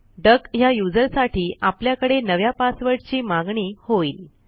duck ह्या userसाठी आपल्याकडे नव्या पासवर्डची मागणी होईल